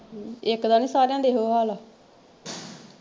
ਇੱਕ ਦਾ ਨਹੀਂ ਸਾਰਿਆਂ ਦਾ ਇਹੋ ਹਾਲ ਆ।